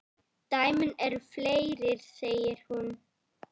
Dæmin eru fleiri, segir hún.